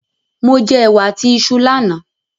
Mo jẹ ẹ̀wà àti iṣu lánà